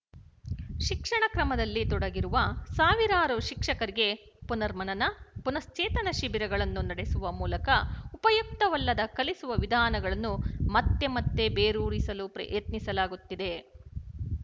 ಶಿಕ್ಷಣ ಕ್ರಮದಲ್ಲಿ ತೊಡಗಿರುವ ಸಾವಿರಾರು ಶಿಕ್ಷಕರಿಗೆ ಪುನರ್ಮನನ ಪುನಸ್ಚೇತನ ಶಿಬಿರಗಳನ್ನು ನಡೆಸುವ ಮೂಲಕ ಉಪಯುಕ್ತವಲ್ಲದ ಕಲಿಸುವ ವಿಧಾನಗಳನ್ನು ಮತ್ತೆಮತ್ತೆ ಬೇರೂರಿಸಲು ಯತ್ನಿಸಲಾಗುತ್ತಿದೆ